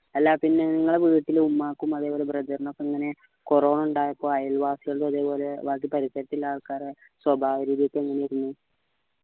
അല്ല പിന്നെ നിങ്ങള വീട്ടിലും ഉമ്മാക്കും അതേപോലെ brother നും ഇങ്ങനെ corona ഇണ്ടായപ്പോ അയൽവാസികളുടെ അതേപോലെ ബാക്കി പരിസരത്ത് ഇള്ള ആൾക്കാരെ സ്വഭാവ രീതി ഒക്കെ എങ്ങനെയെന്നു